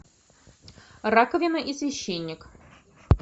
раковина и священник